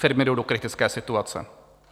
Firmy jdou do kritické situace.